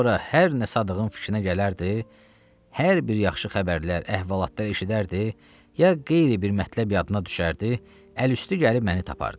Sonra hər nə Sadığın fikrinə gələrdi, hər bir yaxşı xəbərlər, əhvalatlar eşidərdi, ya qeyri bir mətləb yadına düşərdi, əl üstü gəlib məni tapardı.